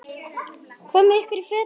Komiði ykkur í fötin.